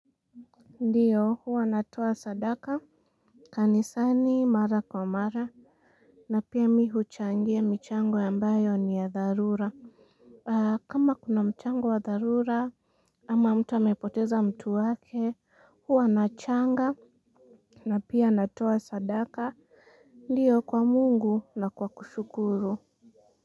Ndiyo huwa natuwa sadaka. Kanisani mara kwa mara na pia mi huchangia michango ambayo ni ya dharura. Kama kuna mchango wa dharura ama mtu amepoteza mtu wake huwa nachanga na pia natuwa sadaka. Ndiyo kwa Mungu na kwa kushukuru.